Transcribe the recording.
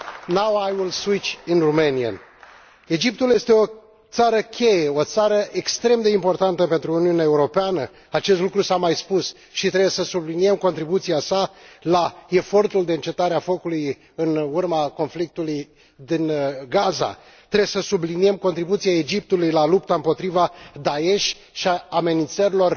Now I will switch to Romanian. Mulțumesc, domnule Președinte! Egiptul este o țară cheie, o țară extrem de importantă pentru Uniunea Europeană acest lucru s a mai spus și trebuie să subliniem contribuția sa la efortul de încetare a focului în urma conflictului din Gaza. Trebuie să subliniem contribuția Egiptului la lupta împotriva Daesh și a amenințărilor